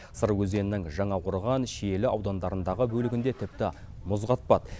сыр өзенінің жаңақорған шиелі аудандарындағы бөлігінде тіпті мұз қатпады